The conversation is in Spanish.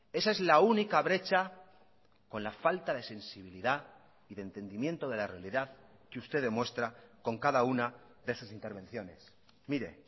esa es la única brecha con la falta de sensibilidad y de entendimiento de la realidad que usted demuestra con cada una de sus intervenciones mire